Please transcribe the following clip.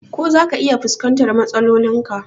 Ko zaka iya fuskantar matsalolin ka?